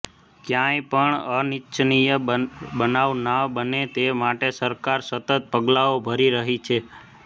ક્યાંય પણ અનીચ્છનીય બનાવ ન બને તે માટે સરકાર સતત પગલાઓ ભરી રહી છે